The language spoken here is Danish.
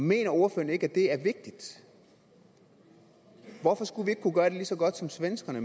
mener ordføreren ikke at det er vigtigt hvorfor skulle vi ikke kunne gøre det lige så godt som svenskerne